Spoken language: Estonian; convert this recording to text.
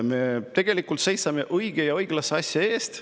Me tegelikult seisame õige ja õiglase asja eest.